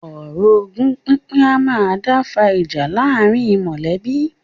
Ọ̀rọ̀ ogún pínpín a máa dá fa ìjà láàárín mọ̀lẹ́bí.